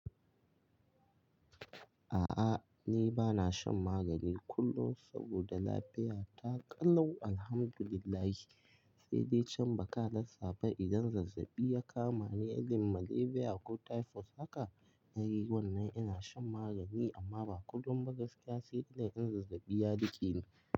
A'a ni bana shan magani kullum saboda lafiya ta ƙalau alhamdulillahi. Sai dai can baka rasa ba idan zazzaɓi ya kama ni, irin malaria ko typhoid haka ni wannan ina shan magani amma ba kullum ba gaskiya sai dai in zazzaɓi ya riƙeni.